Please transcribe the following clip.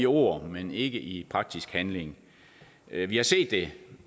ord men ikke i praktisk handling vi har set det